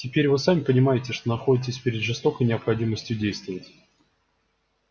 теперь вы сами понимаете что находитесь перед жестокой необходимостью действовать